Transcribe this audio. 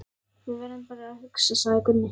Við verðum bara að hugsa, sagði Gunni.